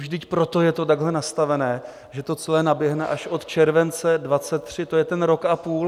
Vždyť proto je to takhle nastaveno, že to celé naběhne až od července 2023, to je ten rok a půl.